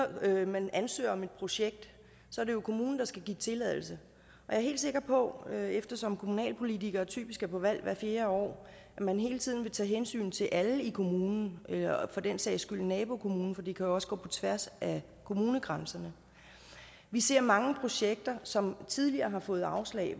man ansøger om et projekt er det jo kommunen der skal give tilladelse jeg er helt sikker på eftersom kommunalpolitikere typisk er på valg hvert fjerde år at man hele tiden vil tage hensyn til alle i kommunen og for den sags skyld nabokommunen for det jo også gå på tværs af kommunegrænserne vi ser mange projekter som tidligere har fået afslag og